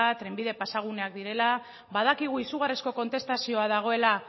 trenbide pasaguneak direla badakigu izugarrizko kontestazioa dagoela